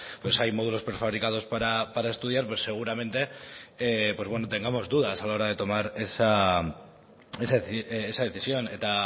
hay módulos prefabricados para estudiar seguramente tengamos dudas a la hora de tomar esa decisión eta